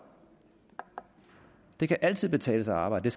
det kan altid betale sig at arbejde